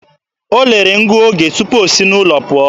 O lelere ngụoge tupu o si n'ụlọ pụọ